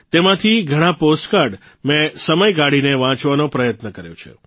તેમાંથી ઘણા પોસ્ટકાર્ડ મેં સમય કાઢીને વાંચવાનો પ્રયત્ન કર્યો છે